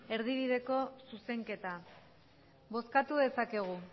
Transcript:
erdibideko zuzenketa bozkatu dezakegu